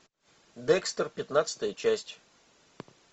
декстер пятнадцатая часть